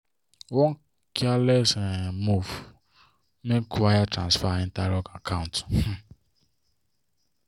one careless um move make wire transfer enter wrong account. um